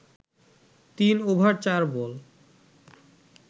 তিন ওভার চার বল